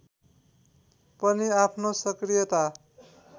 पनि आफ्नो सक्रियता